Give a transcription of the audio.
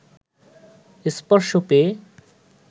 স্পর্শ পেয়ে